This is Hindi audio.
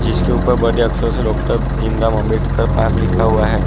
जिसके ऊपर बड़े अक्षरो से डॉक्टर भीम राव अंबेडकर पार्क लिखा हुआ है।